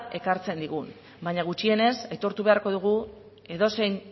ekartzen digun baina gutxienez aitortu beharko dugu edozein